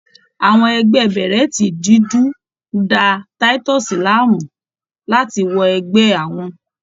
Àwọn ẹgbẹ́ bèrẹ́tì dúdú ń da Titus láàmú láti wọ ẹgbẹ́ àwọn.